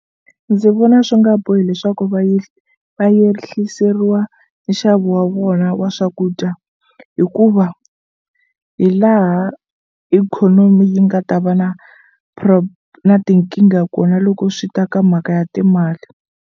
Ndzi vona swi nga bohi leswaku va va yehliseriwa nxavo wa vona wa swakudya hikuva hi laha ikhonomi yi nga ta va na na tinkingha kona loko swi ta ka mhaka ya timali.